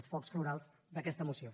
els focs florals d’aquesta moció